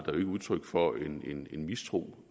jo ikke udtryk for en en mistro